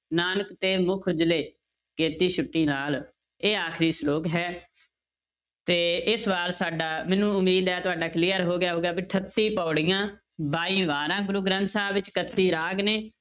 ਨਾਨਕ ਤੇ ਮੁਖ ਉਜਲੇ ਕੇਤੀ ਛੁਟੀ ਨਾਲ, ਇਹ ਆਖਰੀ ਸਲੋਕ ਹੈ ਤੇ ਇਹ ਸਵਾਲ ਸਾਡਾ ਮੈਨੂੰ ਉਮੀਦ ਹੈ ਤੁਹਾਡਾ clear ਹੋ ਗਿਆ ਹੋਊਗਾ, ਵੀ ਅਠੱਤੀ ਪਾਉੜੀਆਂ, ਬਾਈ ਵਾਰਾਂ ਗੁਰੂ ਗ੍ਰੰਥ ਸਾਹਿਬ ਵਿੱਚ ਇਕੱਤੀ ਰਾਗ ਨੇ।